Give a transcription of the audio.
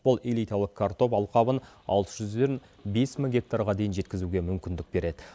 ол элиталық картоп алқабын алты жүзден бес мың гектарға дейін жеткізуге мүмкіндік береді